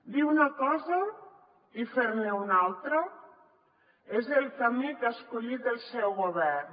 dir una cosa i fer ne una altra és el camí que ha escollit el seu govern